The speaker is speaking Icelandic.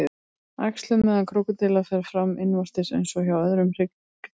Æxlun meðal krókódíla fer fram innvortis eins og hjá öðrum hryggdýrum.